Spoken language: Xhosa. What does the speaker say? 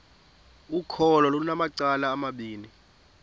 ukholo lunamacala amabini